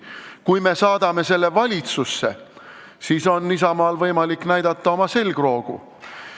Kui me saadame selle valitsusse, siis on Isamaal võimalik oma selgroogu näidata.